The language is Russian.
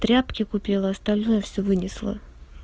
тряпки купила остальное всё вынесла